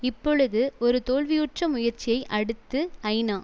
இப்பொழுது ஒரு தோல்வியுற்ற முயற்சியை அடுத்து ஐநா